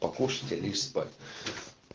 покушать и лечь спать